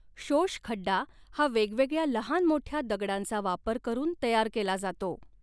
शोषखड्डा हा वेगवेगळ्या लहान मोठ्या दगडांचा वापर करून तयार केला जातो.